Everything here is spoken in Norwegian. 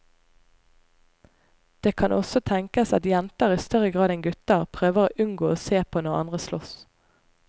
Det kan også tenkes at jenter i større grad enn gutter prøver å unngå å se på når andre sloss.